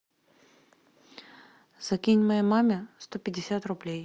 закинь моей маме сто пятьдесят рублей